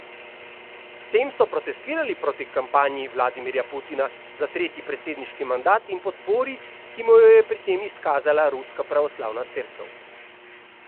S tem so protestirale proti kampanji Vladimirja Putina za tretji predsedniški mandat in podpori, ki mu jo je pri tem izkazala Ruska pravoslavna cerkev.